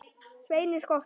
Sveini skotta.